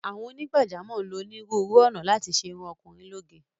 Àwọn onígbàjámọ̀ ń lo onírúurú ọ̀nà láti ṣe irun ọkùnrin lóge.